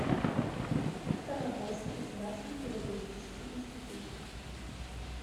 ставропольский государственный педагогический институт